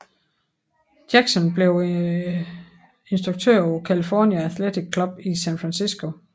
Jackson blev instruktør på California Athletic Club i San Francisco